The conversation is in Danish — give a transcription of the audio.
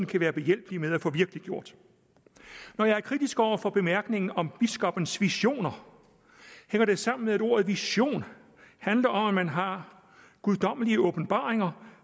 kan være behjælpelig med at få virkeliggjort når jeg er kritisk over for bemærkningen om biskoppens visioner hænger det sammen med at ordet vision handler om at man har guddommelige åbenbaringer